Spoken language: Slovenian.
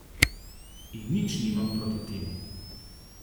In nič nimam proti temu.